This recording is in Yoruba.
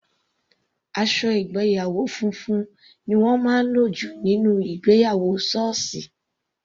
Aṣọ ìgbéyàwó funfun ni wọ́n máa ń lò jù nínú ìgbéyàwó sọọsi.